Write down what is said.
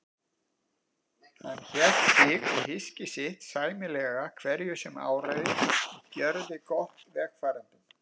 Hélt hann sig og hyski sitt sæmilega hverju sem áraði og gjörði gott vegfarendum.